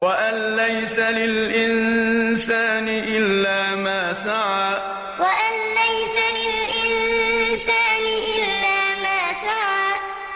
وَأَن لَّيْسَ لِلْإِنسَانِ إِلَّا مَا سَعَىٰ وَأَن لَّيْسَ لِلْإِنسَانِ إِلَّا مَا سَعَىٰ